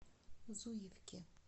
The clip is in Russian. зуевки